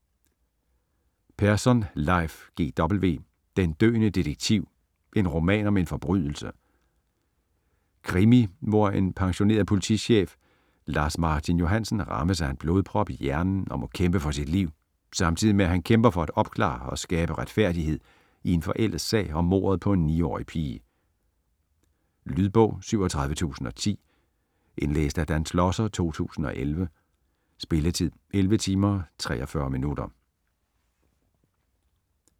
Persson, Leif G. W.: Den døende detektiv: en roman om en forbrydelse Krimi hvor en pensionerede politichef Lars Martin Johansen rammes af en blodprop i hjernen og må kæmpe for sit liv, samtidig med at han kæmper for at opklare og skabe retfærdighed i en forældet sag om mordet på en 9-årig pige. Lydbog 37010 Indlæst af Dan Schlosser, 2011. Spilletid: 11 timer, 43 minutter.